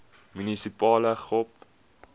munisipale gop